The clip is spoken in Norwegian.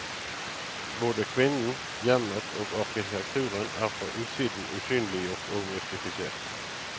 Både kvinnen, hjemmet og arkitekturen er fra utsiden usynliggjort og mystifisert.